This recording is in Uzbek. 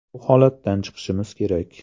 Bu holatdan chiqishimiz kerak.